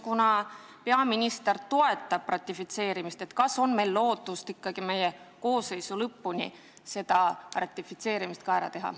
Kuna peaminister toetab ratifitseerimist, siis on küsimus, kas meil on lootust ikkagi enne meie koosseisu töö lõppu see ratifitseerimine ära teha.